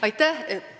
Aitäh!